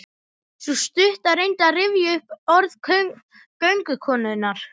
Sú stutta reyndi að rifja upp orð göngukonunnar.